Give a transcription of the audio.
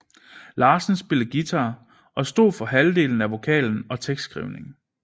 Larsen spillede guitar og stod for halvdelen af vokalen og tekstskrivningen